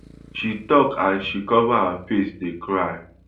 she tok as she cover her face dey cry